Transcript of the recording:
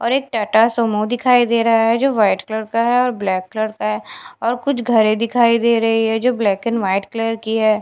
और एक टाटा सुमो दिखाई दे रहा है जो व्हाइट कलर का है और ब्लैक कलर का है और कुछ घरे दिखाई दे रही है जो ब्लैक एंड व्हाइट कलर की है।